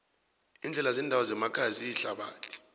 iindlela zendawo zemakhaya ziyithabathi